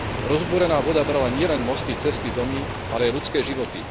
Rozbúrená voda brala nielen mosty, cesty, domy, ale aj ľudské životy.